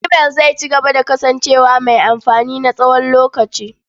Imail zai cigaba da kasancewa mai amfani na tsawon lokaci.